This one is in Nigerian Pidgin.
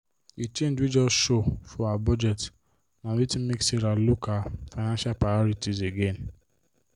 the change wey just show for her budget na wetin make sarah look her financial priorities again.